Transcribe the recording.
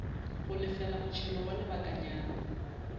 go lefela motšhelo wa lebakanyana